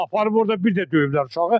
Aparıb orada bir də döyüblər uşağı.